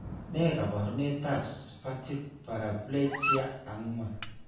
Ne kaabarunetap Spastic paraplegia 4?